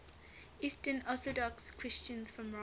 eastern orthodox christians from russia